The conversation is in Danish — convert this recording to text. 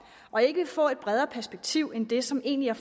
og ikke vil få et bredere perspektiv end det som egentlig er